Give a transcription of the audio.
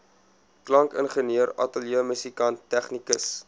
klankingenieur ateljeemusikant tegnikus